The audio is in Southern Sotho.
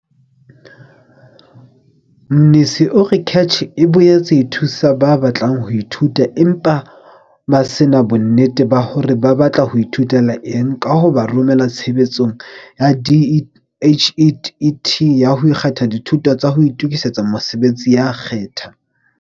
Mnisi o re CACH e boetse e thusa ba batlang ho ithuta empa ba se na bonnete ba hore ba batla ho ithutela eng ka ho ba romela Tshebeletsong ya DHET ya ho kgetha Dithuto tsa ho Itokisetsa Mosebetsi ya Khetha.